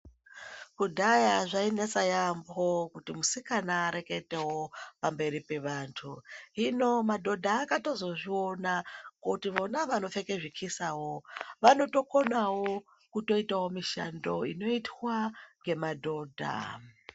Kudhaya zvainetsa yaamho kuti musikana areketewo pamberi pevantu hino madhodha akatozozviona kuri vona vanopfeka zvichisa vanotokonawo kuita mishando inoitwa nemadhodha.